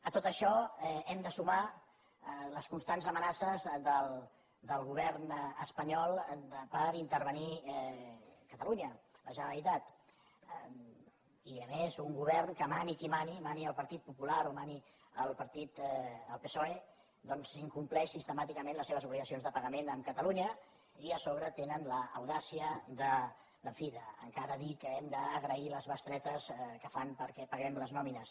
a tot això hi hem de sumar les constants amenaces del govern espanyol d’intervenir catalunya la generalitat i a més un govern que mani qui mani mani el partit popular o mani el psoe incompleix sistemàticament les seves obligacions de pagament amb catalunya i a sobre tenen l’audàcia encara de dir que hem d’agrair les bestretes que fan perquè paguem les nòmines